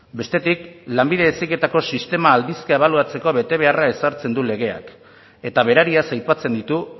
bestetik lanbide heziketako sistema aldizka ebaluatzeko betebeharra ezartzen du legeak eta berariaz aipatzen ditu